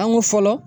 An ko fɔlɔ